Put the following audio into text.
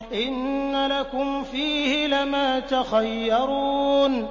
إِنَّ لَكُمْ فِيهِ لَمَا تَخَيَّرُونَ